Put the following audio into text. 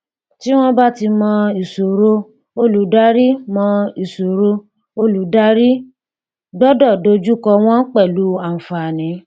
tí wọn bá ti mọ̀ ìṣòro olùdarí mọ̀ ìṣòro olùdarí gbọ́dọ̀ dojú kọ wọ́n pẹ̀lú àǹfààní.